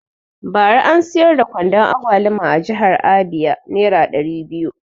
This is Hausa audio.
Bara an siyar da kwandon agwaluma a jihar abia nera ɗari biyu